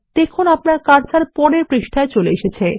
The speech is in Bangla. দেখুন আপনার কার্সার পরের পৃষ্ঠায় চলে এসেছে